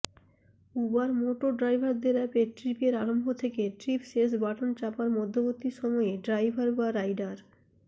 Uber Moto ড্রাইভারদের অ্যাপে ট্রিপের আরম্ভ থেকে ট্রিপ শেষ বাটন চাপার মধ্যবর্তী সময়ে ড্রাইভার বা রাইডার